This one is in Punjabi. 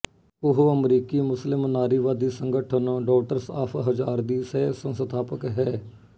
ਉਹ ਅਮਰੀਕੀ ਮੁਸਲਿਮ ਨਾਰੀਵਾਦੀ ਸੰਗਠਨ ਡੌਟਰਸ ਆਫ਼ ਹਜ਼ਾਰ ਦੀ ਸਹਿਸੰਸਥਾਪਕ ਹੈ